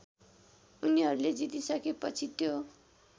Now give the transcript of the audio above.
उनीहरूले जितिसकेपछि त्यो